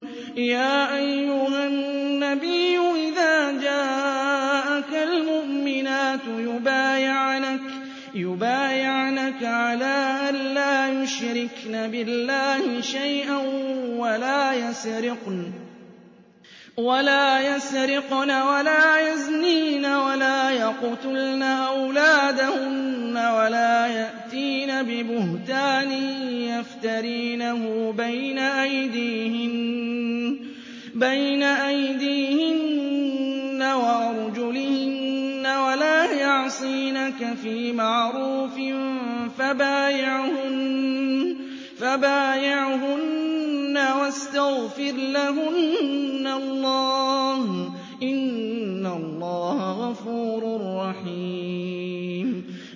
يَا أَيُّهَا النَّبِيُّ إِذَا جَاءَكَ الْمُؤْمِنَاتُ يُبَايِعْنَكَ عَلَىٰ أَن لَّا يُشْرِكْنَ بِاللَّهِ شَيْئًا وَلَا يَسْرِقْنَ وَلَا يَزْنِينَ وَلَا يَقْتُلْنَ أَوْلَادَهُنَّ وَلَا يَأْتِينَ بِبُهْتَانٍ يَفْتَرِينَهُ بَيْنَ أَيْدِيهِنَّ وَأَرْجُلِهِنَّ وَلَا يَعْصِينَكَ فِي مَعْرُوفٍ ۙ فَبَايِعْهُنَّ وَاسْتَغْفِرْ لَهُنَّ اللَّهَ ۖ إِنَّ اللَّهَ غَفُورٌ رَّحِيمٌ